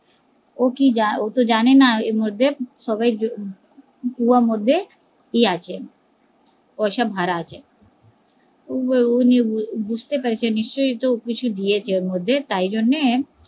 ও কি ও তো জানে না, এর মধ্যে সবাই পুয়া মধ্যে ইয়ে আছে পয়সা ভরা আছে ও বুঝতে পারছে নিশ্চই তো কিছু দিয়েছে আর মধ্যে তাই জন্য